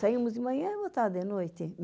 Saíamos de manhã e voltava de noite.